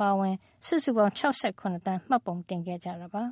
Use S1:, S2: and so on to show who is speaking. S1: ပါအဝင် စုစုပေါင်း ၆၇ သန်း မှတ်ပုံတင်ခဲ့ကြပါ